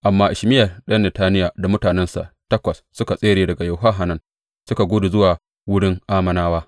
Amma Ishmayel ɗan Netaniya da mutanensa takwas suka tsere daga Yohanan suka gudu zuwa wurin Ammonawa.